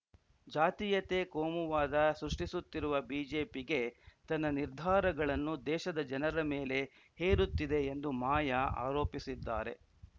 ಜಾತಿಯತೆ ಕೋವುವಾದ ಸೃಷ್ಟಿಸುತ್ತಿರುವ ಬಿಜೆಪಿಗೆ ತನ್ನ ನಿರ್ಧಾರಗಳನ್ನು ದೇಶದ ಜನರ ಮೇಲೆ ಹೇರುತ್ತಿದೆ ಎಂದು ಮಾಯಾ ಆರೋಪಿಸಿದ್ದಾರೆ